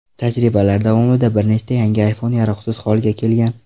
Tajribalar davomida bir nechta yangi iPhone yaroqsiz holga kelgan.